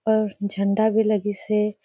और झंडा भी लगीस हे।